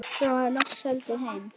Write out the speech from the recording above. Svo var loks haldið heim.